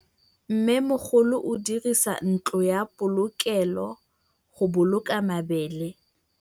Mmêmogolô o dirisa ntlo ya polokêlô, go boloka mabele.